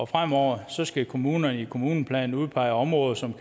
fremover skal kommunerne i deres kommuneplaner udpege områder som